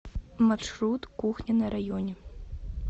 маршрут кухня на районе